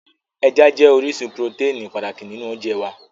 Ẹja jẹ́ orísun purotẹ́ẹ̀nì pàtàkì nínú oúnjẹ wá